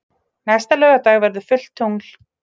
Næsta laugardag verður fullt tungl.